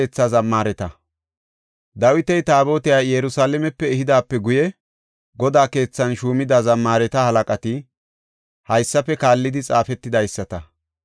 Dawiti Taabotiya Yerusalaame ehidaape guye, Godaa keethan shuumida zammaareta halaqati haysafe kaallidi xaafetidaysata.